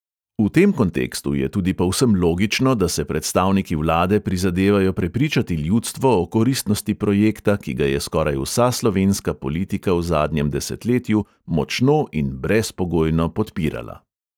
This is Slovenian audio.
V tem kontekstu je tudi povsem logično, da se predstavniki vlade prizadevajo prepričati ljudstvo o koristnosti projekta, ki ga je skoraj vsa slovenska politika v zadnjem desetletju močno in brezpogojno podpirala.